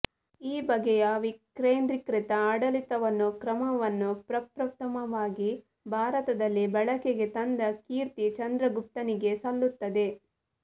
ಈ ಬಗೆಯ ವಿಕೇಂದ್ರೀಕೃತ ಆಡಳಿತ ಕ್ರಮವನ್ನು ಪ್ರಪ್ರಥಮವಾಗಿ ಭಾರತದಲ್ಲಿ ಬಳಕೆಗೆ ತಂದ ಕೀರ್ತಿ ಚಂದ್ರಗುಪ್ತನಿಗೆ ಸಲ್ಲುತ್ತದೆ